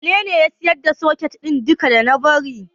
Wanene ya siyar da duka soket ɗin da na bari?